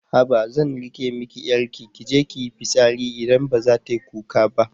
Haba zan riƙe miki 'yarki kije kiyi fitsari idan baza tayi kuka ba